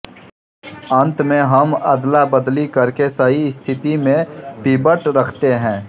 अंत में हम अदलाबदली करके सही स्थिति में पिवट रखते हैं